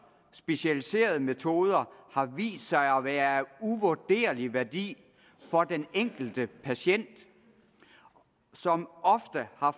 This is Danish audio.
specialiserede metoder har vist sig at være af uvurderlig værdi for den enkelte patient som ofte har